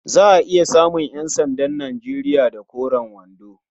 Za a iya samun ƴansandan Nijeriya da koren wando.